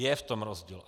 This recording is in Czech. Je v tom rozdíl.